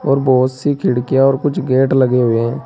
और बहोत सी खिड़कियां और कुछ गेट लगे हुए हैं।